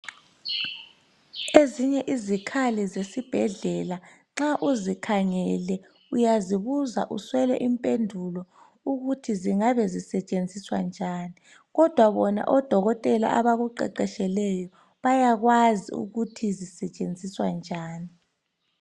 Ezinye izikhali zesibhedlela nxa uzikhangele uyazibuza uswele impendulo ukuthi zingabe zisetshenziswa njani kodwa bona odokotela abakuqeqetsheleyo bayakwazi ukuthi zisetshenziswa njani